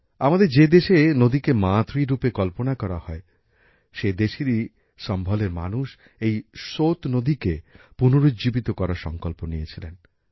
আমাদের যে দেশে নদীকে মাতৃ রূপে কল্পনা করা হয় সে দেশেরই সম্ভলের মানুষ এই সোত নদীকে পুনরুজ্জীবিত করার সংকল্প নিয়েছিলেন